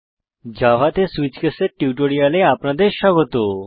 Java তে switch case এর টিউটোরিয়ালে আপনাদের স্বাগত